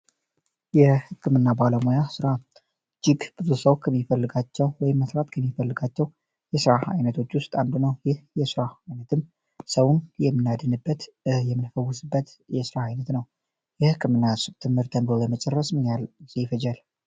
የህክምና ባለሙያ ስራ ይህ ብዙ ሰው ከሚፈልጋቸው ወይም መስራት ከሚፈልጋቸው የስራ አይነቶች ውስጥ አንዱ ነው። ይህ የስራ አይነት ሰውን የምናድንበት ፣የምንፈውስበት የስራ አይነት ነው። የህክምና ትምሀርት ተሮረ ለመጨረስ ምን ያክል ጊዜ ይፈጃል?